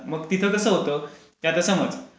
मग तिथे कसं होतं, की आता समज